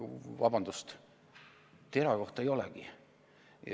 Vabandust, TERA kohta ei olegi.